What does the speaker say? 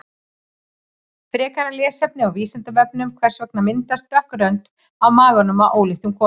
Frekara lesefni á Vísindavefnum: Hvers vegna myndast dökk rönd á maganum á óléttum konum?